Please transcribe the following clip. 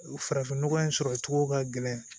Farafin nɔgɔ in sɔrɔ cogo ka gɛlɛn